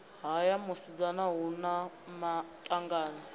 haya musadzi hu na maṱanganyi